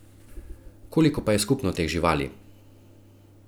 Koliko pa je skupno teh živali?